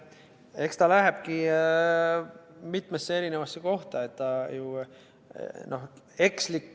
Eks ta lähebki mitmesse kohta.